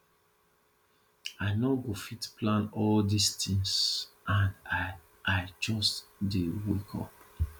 i no go fit plan all dis things and i i just dey wake up